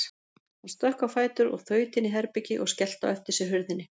Hann stökk á fætur og þaut inn í herbergi og skellti á eftir sér hurðinni.